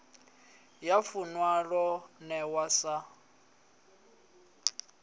ya funwa lo newa sa